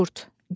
Manqurt.